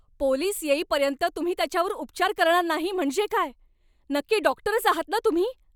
Police येईपर्यंत तुम्ही त्याच्यावर उपचार करणार नाही म्हणजे काय? नक्की डॉक्टरच आहात ना तुम्ही?